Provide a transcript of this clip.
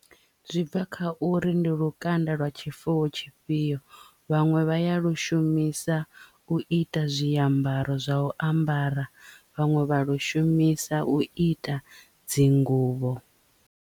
Zwi bva kha uri ndi lukanda lwa tshifuwo tshifhio vhaṅwe vha ya lu shumisa u ita zwiambaro zwa u ambara vhaṅwe vha lu shumisa u ita dzinguvho.